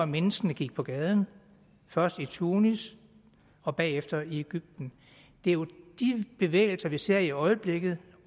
menneskene gik på gaden først i tunis og bagefter i egypten det er jo de bevægelser vi ser i øjeblikket